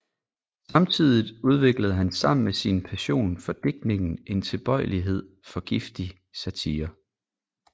Samtidigt udviklede han sammen med sin passion for digtning en tilbøjelighed for giftig satire